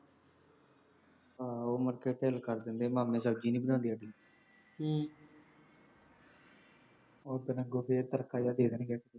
ਆਹੋ ਮੱਥੇ ਢਿੱਲ ਕਰ ਦਿੰਦੇ ਆ, ਮਾਮੀ ਸਬਜ਼ੀ ਨਹੀਂ ਬਣਾਉਂਦੀ ਅੱਗੇ, ਉਹ ਦਿਨ ਗੋਭੀ ਦਾ ਚਰਖਾ ਜਿਹਾ ਦੇ ਦਿੰਦੇ ਆ